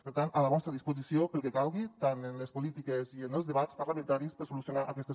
per tant a la vostra disposició pel que calgui tant en les polítiques i en els debats parlamentaris per solucionar aquestes